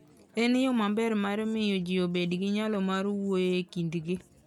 En yo maber mar miyo ji obed gi nyalo mar wuoyo e kindgi.